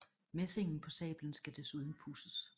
Messingen på sablen skal desuden pudses